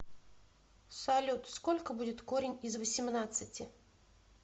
салют сколько будет корень из восемнадцати